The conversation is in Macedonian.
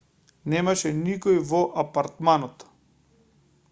немаше никој во апартманот